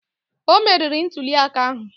O meriri ntuli aka ahụ